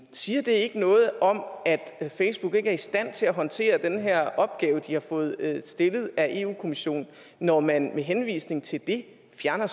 siger det ikke noget om at facebook ikke er i stand til at håndtere den her opgave de har fået stillet af eu kommissionen når man med henvisning til det fjerner